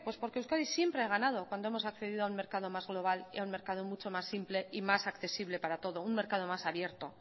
porque euskadi siempre ha ganado cuando hemos accedido a un mercado más global y a un mercado mucho más simple y más accesible para todo un mercado más abierto